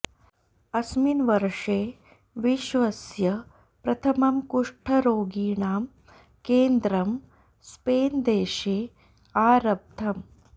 अस्मिन् वर्षे विश्वस्य प्रथमं कुष्ठरोगिणां केन्द्रं स्पेन्देशे आरब्धम्